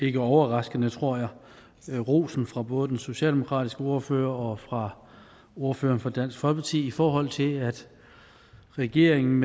ikke overraskende tror jeg rosen fra både den socialdemokratiske ordfører og ordføreren fra dansk folkeparti i forhold til at regeringen